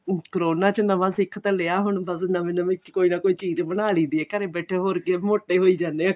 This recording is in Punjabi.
ah ਕਰੋਨਾ ਚ ਨਵਾਂ ਸਿੱਖ ਤਾਂ ਲਿਆ ਹੁਣ ਬੱਸ ਨਵੀਂ ਨਵੀਂ ਕੋਈ ਨਾ ਕੋਈ ਚੀਜ ਬਣਾ ਲਈ ਦੀ ਏ ਘਰੇ ਹੋਰ ਕੀ ਮੋਟੇ ਹੋਈ ਜਾਣੇ ਆ